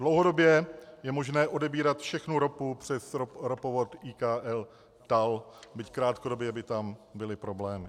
Dlouhodobě je možné odebírat všechnu ropu přes ropovod IKL TAL, byť krátkodobě by tam byly problémy.